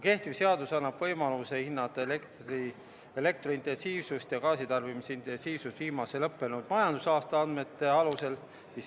Kehtiv seadus annab võimaluse hinnata elektrointensiivsust ja gaasi tarbimise intensiivsust viimase lõppenud majandusaasta andmete alusel.